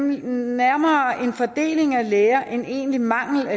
nærmere fordelingen af læger end en egentlig mangel